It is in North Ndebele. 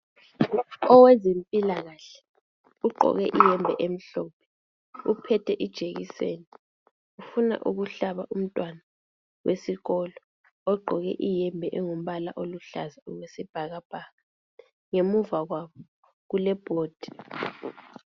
Owezempila kahle ugqoke iyembe emhlophe, uphethe ijekiseni ufuna ukuhlaba umntwana wesikolo ogqoke iyembe engumbala oluhlaza okwesibhakabhaka. Ngemuva kwabo kule board.